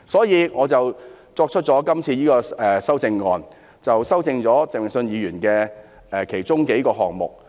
因此，我今次提出的修正案，修正了鄭泳舜議員其中數個部分。